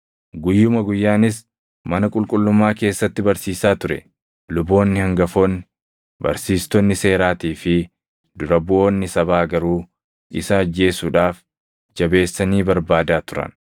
Guyyuma guyyaanis mana qulqullummaa keessatti barsiisaa ture; luboonni hangafoonni, barsiistonni seeraatii fi dura buʼoonni sabaa garuu isa ajjeesuudhaaf jabeessanii barbaadaa turan.